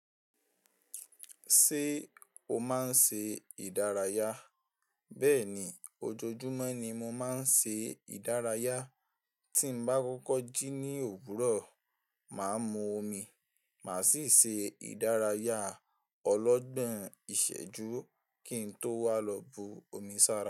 Ṣé o máa ń ṣe ìdárayá? Bẹ́ẹ̀ni, ojoojúmọ́ ni mo máa ń ṣe ìdárayá. Tí m bá kọ́kọ́ jí ní òwúrọ̀, màá mu omi, màá sì ṣe ìdárayá ọlọ́gbọ́n ìṣẹ́jú kí n tó wá lọ bu omi sára.